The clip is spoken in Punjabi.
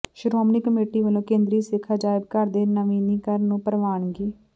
ਸ਼੍ਰੋਮਣੀ ਕਮੇਟੀ ਵਲੋਂ ਕੇਂਦਰੀ ਸਿੱਖ ਅਜਾਇਬ ਘਰ ਦੇ ਨਵੀਨੀਕਰਨ ਨੂੰ ਪ੍ਰਵਾਨਗੀ